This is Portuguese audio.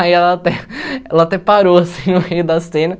Aí ela até ela até parou, assim, no meio da cena.